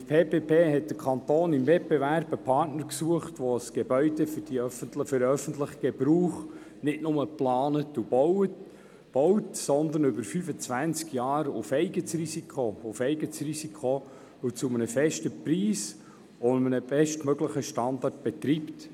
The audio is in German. Mit PPP hat der Kanton im Wettbewerb einen Partner gesucht, der ein Gebäude für den öffentlichen Gebrauch nicht nur plant und baut, sondern es über 25 Jahre auf eigenes Risiko, zu einem festen Preis und einem bestmöglichen Standard betreibt.